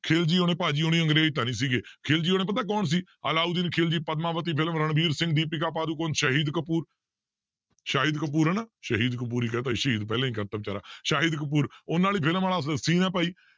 ਖਿਲਜੀ ਹੋਣੀ ਭਾਜੀ ਹੋਣੀ ਅੰਗਰੇਜ਼ ਤਾਂ ਨੀ ਸੀਗੇ ਖਿਲਜੀ ਹੋਣੀ ਪਤਾ ਕੌਣ ਸੀ ਅਲਾਊਦੀਨ ਖਿਲਜੀ ਪਦਮਾਵਤੀ ਫਿਲਮ ਰਣਵੀਰ ਸਿੰਘ ਦੀਪਿਕਾ ਪਾਦੂਕੌਣ ਸ਼ਾਹੀਦ ਕਪੂਰ ਸ਼ਾਹਿਦ ਕਪੂਰ ਹਨਾ, ਸ਼ਹੀਦ ਕਪੂਰ ਹੀ ਕਹਿ ਦਿੱਤਾ ਸੀ ਸ਼ਹੀਦ ਪਹਿਲਾਂ ਹੀ ਕਰ ਦਿੱਤਾ ਬੇਚਾਰਾ ਸ਼ਾਹਿਦ ਕਪੂਰ ਉਹਨਾਂ ਵਾਲੀ film ਵਾਲਾ scene ਆਂ ਭਾਈ